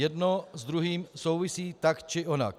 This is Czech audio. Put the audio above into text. Jedno s druhým souvisí tak či onak.